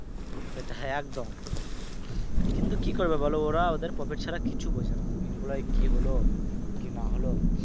সেটাই একদম কিন্তু কি করবে বলো ওরা ওদের profit ছাড়া কিচ্ছু বোঝে না employee র কি হল কি না হল।